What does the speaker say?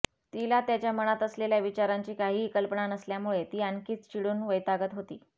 तिला त्याच्या मनात असलेल्या विचारांची काहीही कल्पना नसल्यामुळे ती आणखीनच चिडून वैतागत होती